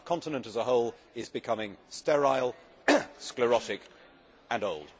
Our continent as a whole is becoming sterile, sclerotic and old.